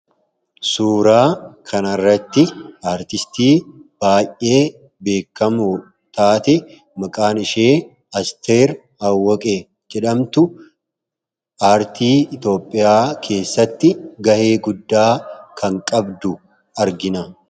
suuraa kanarratti aartistii baay'ee beekamu taate maqaan ishee asteer awwaqee jedhamtu aartii itoophiyaa keessatti ga'ee guddaa kan qabdu argina